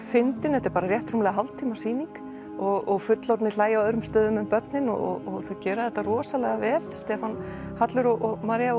fyndin þetta er bara rétt rúmlega hálftíma sýning og fullorðnir hlæja á öðrum stöðum en börnin og þau gera þetta rosalega vel Stefán Hallur og María